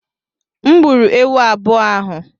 M gburu ewu abụọ ahụ.